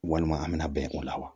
Walima an bɛna bɛn o la wa